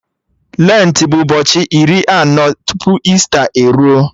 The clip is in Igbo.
Lentị bụ ụbọchị iri anọ tupu Ista e ruo